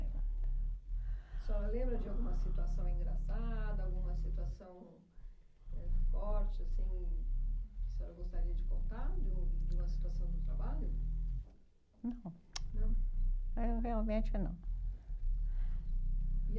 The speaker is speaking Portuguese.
A senhora lembra de alguma situação engraçada, alguma situação eh forte, assim, que a senhora gostaria de contar, de um de uma situação do trabalho? Não. Não? Eh, realmente não. E